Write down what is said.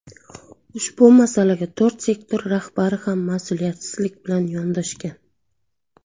Ushbu masalaga to‘rt sektor rahbari ham mas’uliyatsizlik bilan yondoshgan.